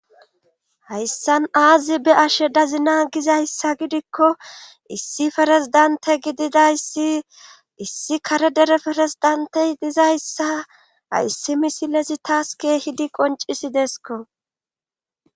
Hayssan aazi be ashe dazina gizayssa gidikko issi farezdante gididayssi issi kare dere ferezdantey dizayssa hayssi misilezi taas keehidi qoncisi deesko.